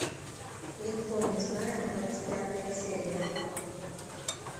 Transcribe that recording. никто не знает двадцать пятая серия